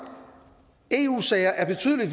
eu sager er betydelig